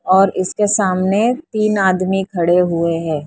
और इसके सामने तीन आदमी खड़े हुए हैं।